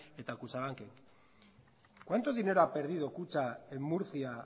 eta kutxanbanken cuánto dinero ha perdido kutxa en murcia